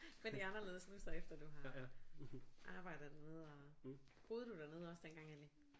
Men det er anderledes nu så efter du har arbejdet dernede og boede du dernede også dengang egentlig